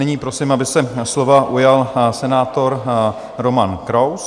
Nyní prosím, aby se slova ujal senátor Roman Kraus.